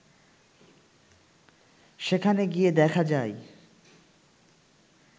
সেখানে গিয়ে দেখা যায়